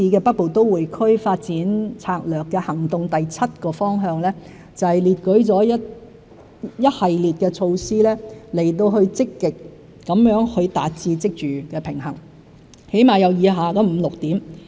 《北部都會區發展策略》第七個行動方向列舉了一系列措施，以積極達致職住平衡，至少有以下五六點。